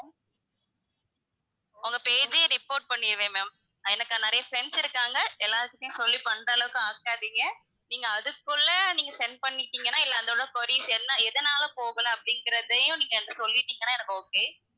உங்க page ஏ report பண்ணிருவேன் ma'am எனக்கு நிறைய friends இருக்காங்க எல்லார்க்கிட்டயும் சொல்லி பண்ற அளவுக்கு ஆக்கிடாதீங்க, நீங்க அதுக்குள்ள நீங்க send பண்ணிட்டீங்கன்னா இல்ல அதோட queries என்ன எதனால போகல அப்படிங்கறதையும் நீங்க எனக்கு சொல்லிட்டீங்கன்னா எனக்கு okay.